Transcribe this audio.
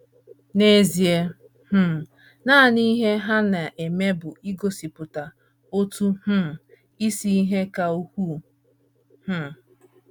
N’ezie, um nanị ihe ha na - eme bụ igosipụta otu um isi ihe ka ukwuu um.